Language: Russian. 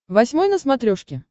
восьмой на смотрешке